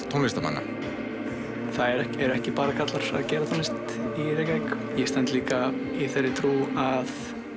tónlistarmanna það eru ekki bara karlar að gera tónlist í Reykjavík ég stend líka í þeirri trú að